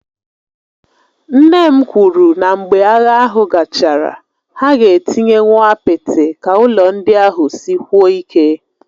Nne m kwuru na mgbe agha ahụ gachara, ha ga-etinyekwu apịtị ka ụlọ ndị ahụ sikwuo ike